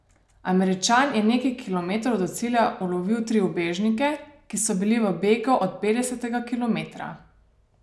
Američan je nekaj kilometrov do cilja ulovil tri ubežnike, ki so bili v begu od petdesetega kilometra.